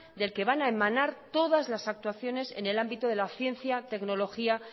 del que van a emanar todas las actuaciones en el ámbito de la ciencia tecnología